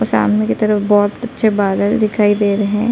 सामने की तरफ बहोत अच्छे बादल दिखाई दे रहे हैं ।